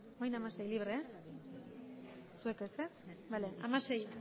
orain hamaseigarrena ebazpena bozka dezakegu